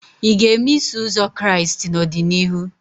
Ị ga-eme Iso Ụzọ Kraịst n'ọdịnihu?